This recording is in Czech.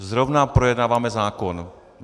Zrovna projednáváme zákon.